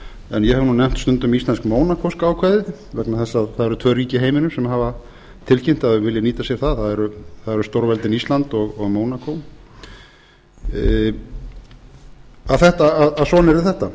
en ég hef nú nefnt stundum íslensk mónakóska ákvæðið vegna þess að það eru tvö ríki í heiminum sem hafa tilkynnt að þau vilji nýta sér það það eru stórveldin ísland og mónakó að svona